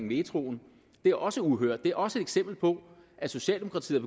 metroen det er også uhørt det er også et eksempel på at socialdemokratiet